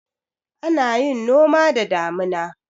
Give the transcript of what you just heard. Ana yin noma da damuna.